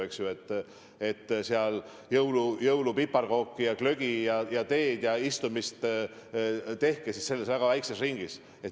Sööge jõulupiparkooke ja jooge glögi ja teed ja tehke oma istumine väga väikses ringis.